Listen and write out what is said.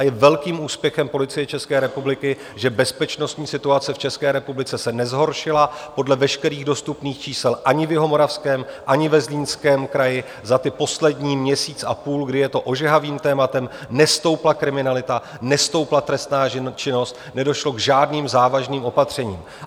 A je velkým úspěchem Policie České republiky, že bezpečnostní situace v České republice se nezhoršila podle veškerých dostupných čísel ani v Jihomoravském, ani ve Zlínském kraji za ty poslední měsíc a půl, kdy je to ožehavým tématem, nestoupla kriminalita, nestoupla trestná činnost, nedošlo k žádným závažným opatřením.